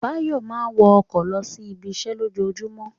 Báyọ̀ máa ń wọ ọkọ̀ lọ sí ibiṣẹ́ lójoojúmọ́